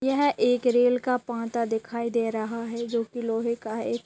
यह एक रेल का पाटा दिखाई दे रहा है जो कि लोहे का है।